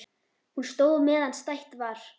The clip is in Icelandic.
Hún stóð meðan stætt var.